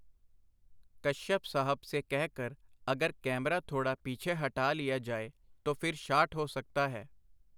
ਕਸ਼ਯਪ ਸਾਹਬ ਸੇ ਕਹਿ ਕਰ ਅਗਰ ਕੈਮਰਾ ਥੋੜਾ ਪੀਛੇ ਹਟਾ ਲੀਆ ਜਾਏ, ਤੋ ਫਿਰ ਸ਼ਾਟ ਹੋ ਸਕਤਾ ਹੈ.